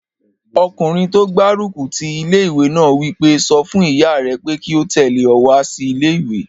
Ọkùnrin tó gbárùkù ti ilé-ìwé náà wí pé, "sọ fún ìyá rẹ pé kí ó tẹ̀lé ọ wá sí ilé-ìwé!"